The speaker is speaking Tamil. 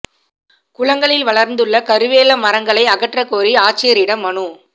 குளங்களில் வளா்ந்துள்ள கருவேல மரங்களை அகற்ற கோரி ஆட்சியரிடம் மனு